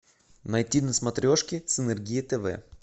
найти на смотрешке синергия тв